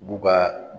U b'u ka